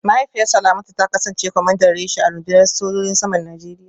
Mahaifiyar Salamatu ta kasance kwamandan reshe a rundunar sojojin saman Najeriya